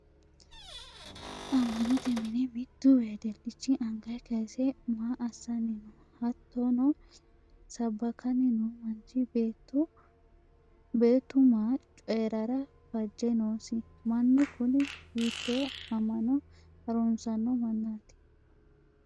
amma'note mine mittu wedilichi anga kayiise maa assanni no? hattono sabbakanni noo manchi beettu maa cooyirara fajje noosi? mannu kuni hiittee amma'no harunsanno mannaati?